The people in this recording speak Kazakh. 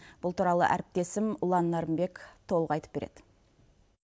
бұл туралы әріптесім ұлан нәрімбек толық айтып береді